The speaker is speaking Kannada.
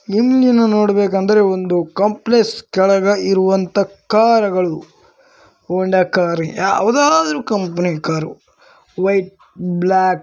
ಇಲ್ಲಿ ನೀವು ನೋಡ್ಬೇಕಂದ್ರೆ ಒಂದು ಕಾಂಪ್ಲೆಕ್ಸ್ ಕೆಳಗೆ ಇರುವಂತ ಕಾರು ಗಳು ಹೋಂಡಾ ಕಾರು ಯಾವುದಾದರೂ ಕಂಪನಿ ಕಾರು ವೈಟ್ ಬ್ಲಾಕ್ --